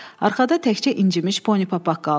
Arxada təkcə incimiş Poni Papaq qaldı.